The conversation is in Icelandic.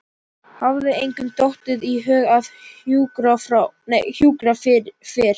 Hafði engum dottið í hug að hjúkra fyrr?